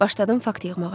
Başladım fakt yığmağa.